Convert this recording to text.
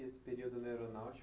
E esse período na aeronáutica?